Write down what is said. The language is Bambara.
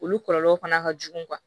Olu kɔlɔlɔw fana ka jugu